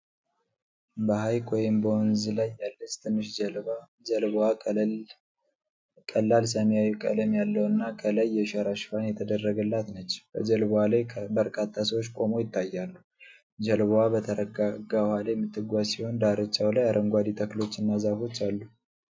በሐይቅ ወይም በወንዝ ላይ ያለች ትንሽ ጀልባ ጀልባዋ ቀላል ሰማያዊ ቀለም ያለውና ከላይ የሸራ ሽፋን የተደረገላት ነች። በጀልባዋ ላይ በርካታ ሰዎች ቆመው ይታያሉ። ጀልባዋ በተረጋጋ ውሃ ላይ የምትጓዝ ሲሆን ዳርቻው ላይ አረንጓዴ ተክሎችና ዛፎች አሉ።